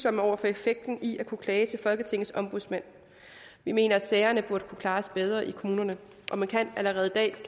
over for effekten i at kunne klage til folketingets ombudsmand vi mener at sagerne burde kunne klares bedre i kommunerne og man kan allerede i dag